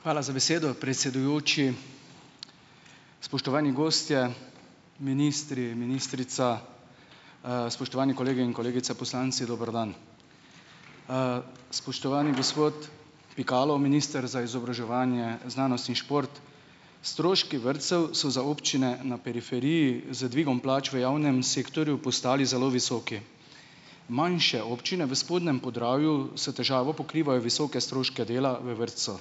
Hvala za besedo, predsedujoči. Spoštovani gostje, ministri, ministrica, spoštovani kolegi in kolegice, poslanci, dober dan. Spoštovani gospod Pikalo, minister za izobraževanje, znanost in šport, stroški vrtcev so za občine na periferiji z dvigom plač v javnem sektorju postali zelo visoki. Manjše občine v spodnjem Podravju s težavo pokrivajo visoke stroške dela v vrtcu,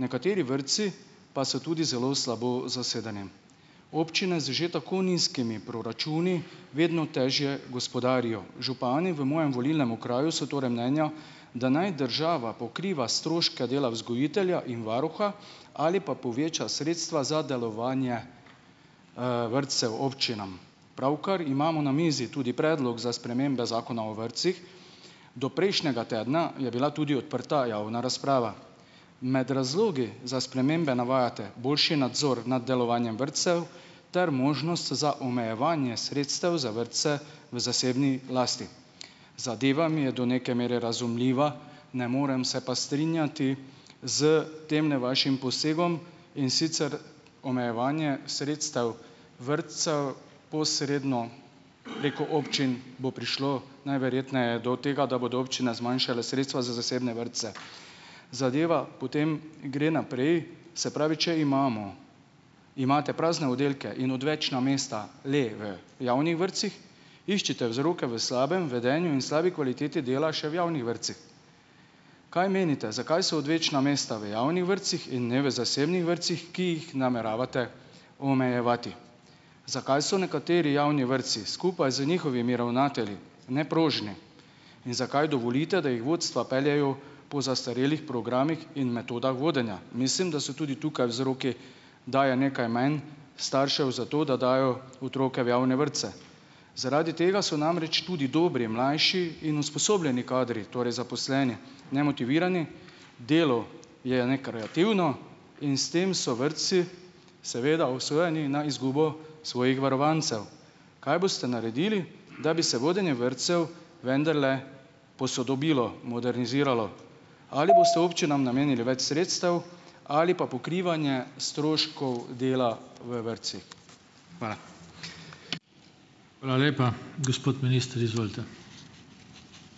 nekateri vrtci pa so tudi zelo slabo zasedeni. Občine z že tako nizkimi proračuni vedno težje gospodarijo. Župani v mojem volilnem okraju so torej mnenja, da naj država pokriva stroške dela vzgojitelja in varuha ali pa poveča sredstva za delovanje, vrtcev občinam. Pravkar imamo na mizi tudi predlog za spremembe Zakona o vrtcih. Do prejšnjega tedna je bila tudi odprta javna razprava. Med razlogi za spremembe navajate boljši nadzor nad delovanjem vrtcev ter možnost za omejevanje sredstev za vrtce v zasebni lasti. Zadeva mi je do neke mere razumljiva, ne morem se pa strinjati s temle vašim posegom, in sicer omejevanje sredstev vrtcev, posredno preko občin bo prišlo najverjetneje do tega, da bodo občine zmanjšale sredstva za zasebne vrtce. Zadeva potem gre naprej. Se pravi, če imamo, imate prazne oddelke in odvečna mesta le v javnih vrtcih, iščite vzroke v slabem vedenju in slabi kvaliteti dela še v javnih vrtcih. Kaj menite, zakaj so odvečna mesta v javnih vrtcih in ne v zasebnih vrtcih, ki jih nameravate omejevati. Zakaj so nekateri javni vrtci skupaj z njihovimi ravnatelji neprožni? In zakaj dovolite, da jih vodstva peljejo po zastarelih programih in metodah vodenja. Mislim, da so tudi tukaj vzroki, da je nekaj manj staršev zato, da dajo otroke v javne vrtce. Zaradi tega so namreč tudi dobri mlajši in usposobljeni kadri, torej zaposleni, nemotivirani, delo je nekreativno in s tem so vrtci seveda obsojeni na izgubo svojih varovancev. Kaj boste naredili, da bi se vodenje vrtcev vendarle posodobilo, moderniziralo? Ali boste občinam namenili več sredstev ali pa pokrivanje stroškov dela v vrtcih? Hvala.